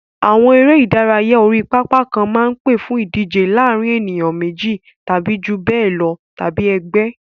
Àwọn eré ìdárayá orí pápá kan máa ń pè fún ìdíje láàárín ènìyàn méjì tàbí jù bẹ́ẹ̀ lọ tàbí ẹgbẹ́.